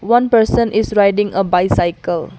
One person is riding a bicycle.